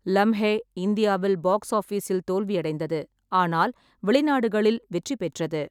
லம்ஹே இந்தியாவில் பாக்ஸ் ஆஃபிஸில் தோல்வியடைந்தது, ஆனால் வெளிநாடுகளில் வெற்றி பெற்றது.